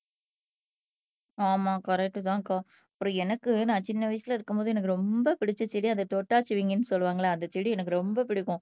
ஆமா கரெக்ட்தான்க்கா அப்புறம் எனக்கு நான் சின்ன வயசுல இருக்கும்போது எனக்கு ரொம்ப பிடிச்ச செடி அதை தொட்டால் சினுங்கின்னு சொல்லுவாங்கல்லே அந்த செடி எனக்கு ரொம்ப பிடிக்கும்